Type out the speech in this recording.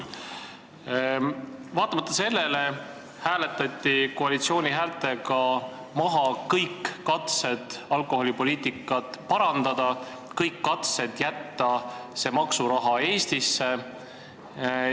Vaatamata sellele hääletati koalitsiooni häältega maha kõik katsed alkoholipoliitikat parandada, kõik katsed jätta see maksuraha Eestisse.